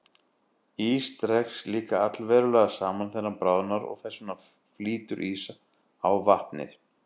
Ís dregst líka allverulega saman þegar hann bráðnar og þess vegna flýtur ís á vatni.